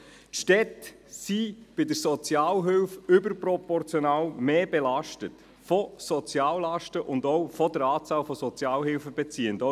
Die Städte sind bei der Sozialhilfe überproportional mehr belastet durch Soziallasten und die Anzahl an Sozialhilfebeziehenden.